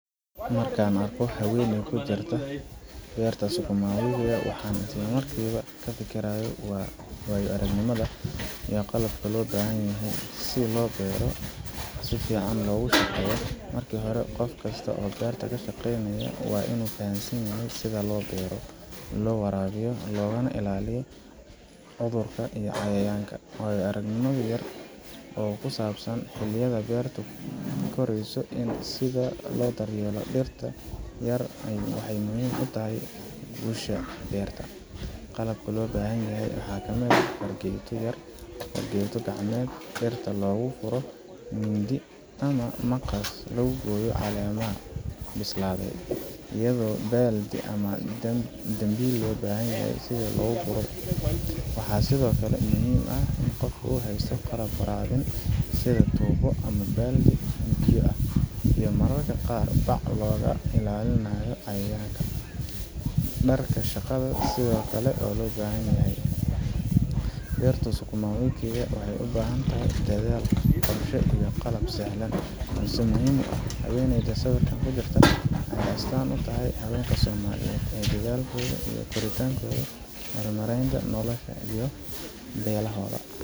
Markaan arko haweeney ku jirta beerta sukuma wiki, waxaan isla markiiba ka fikiraa waayo aragnimada iyo qalabka loo baahan yahay si loo beero si fiican loogu shaqeeyo. Marka hore, qofka beerta ka shaqeynaya waa inuu fahamsan yahay sida loo beero, loo waraabiyo, loogana ilaaliyo cudurrada iyo cayayaanka. Waayo aragnimo yar oo ku saabsan xilliyada beertu korayso iyo sida loo daryeelo dhirta yar waxay muhiim u tahay guusha beerta. Qalabka loo baahan yahayna waxaa ka mid ah fargeeto yar ama fargeeto gacmeed si dhirta loogu furo, mindi ama maqas lagu gooyo caleemaha bislaaday, iyo baaldi ama dambiil loo bahan yahay si loogu guro. Waxaa sidoo kale muhiim ah in qofka haysto qalab waraabin sida tuubo ama baaldi biyo ah, iyo mararka qaar bac si looga ilaaliyo cayayaanka. Dharka shaqada sida galoofisyo iyo kabaha ad-adag ayaa ka caawiya badbaadada. Beerta sukuma wiki waxay u baahan tahay dadaal, qorshe, iyo qalab sahlan balse muhiim ah. Haweeneydan sawirka ku jirta waxay astaan u tahay haweenka Soomaaliyeed ee dadaalkooda iyo kartidooda ku horumarinaya noloshooda iyo beelahooda.